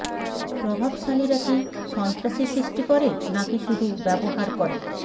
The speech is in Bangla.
প্রভাবশালীরা কি সন্ত্রাসী সৃষ্টি করে নাকি শুধু ব্যবহার করে